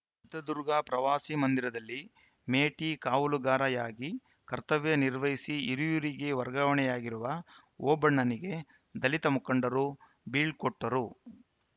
ಚಿತ್ರದುರ್ಗ ಪ್ರವಾಸಿ ಮಂದಿರದಲ್ಲಿ ಮೇಟಿಕಾವಲುಗಾರಯಾಗಿ ಕರ್ತವ್ಯ ನಿರ್ವಹಿಸಿ ಹಿರಿಯೂರಿಗೆ ವರ್ಗಾವಣೆಯಾಗಿರುವ ಓಬಣ್ಣನಿಗೆ ದಲಿತ ಮುಖಂಡರು ಬೀಳ್ಕೊಟ್ಟರು